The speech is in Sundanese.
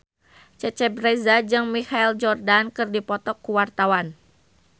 Cecep Reza jeung Michael Jordan keur dipoto ku wartawan